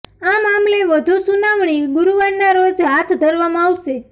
આ મામલે વધુ સુનાવણી ગુરુવારના રોજ હાથ ધરવામાં આવશે